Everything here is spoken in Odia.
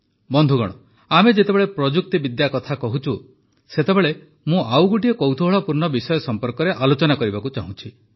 ବନ୍ଧୁଗଣ ଆମେ ଯେତେବେଳେ ପ୍ରଯୁକ୍ତିବିଦ୍ୟା କଥା କହୁଛୁ ସେତେବେଳେ ମୁଁ ଆଉ ଗୋଟିଏ କୌତୂହଳପୂର୍ଣ୍ଣ ବିଷୟ ସମ୍ପର୍କରେ ଆଲୋଚନା କରିବାକୁ ଚାହୁଁଛି